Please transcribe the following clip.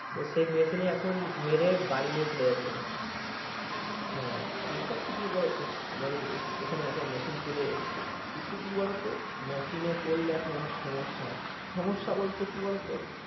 সেই মেশিনে এখন মেড়ে বাড়ি নিয়ে চলে যাচ্ছে ধান। হ্যা এগুলা ঠিক ই বলেছো, আমাদের এখানে ওখানে মেশিন চলে এসছে। কিন্তু কি বোলোত মেশিনে পড়লে এখন সমস্যা, সমস্যা বলতে কি বলো তো?